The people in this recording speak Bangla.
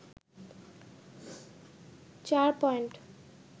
৪ পয়েন্ট